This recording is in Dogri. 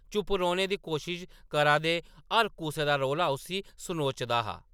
‌ चुप्प रौह्‌‌‌ने दी कोशश करा दे हर कुसै दा रौला उस्सी सनोचा दा हा !